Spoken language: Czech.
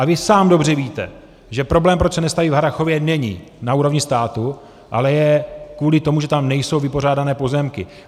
A vy sám dobře víte, že problém, proč se nestaví v Harrachově, není na úrovni státu, ale je kvůli tomu, že tam nejsou vypořádané pozemky.